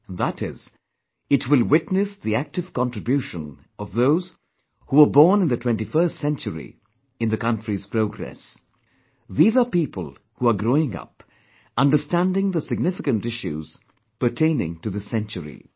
And that is, it will witness the active contribution of those who were born in the 21st century, in the country's progress; these are people who are growing up, understanding the significant issues pertaining to this century